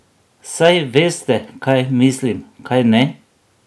Saj veste, kaj mislim, kajne?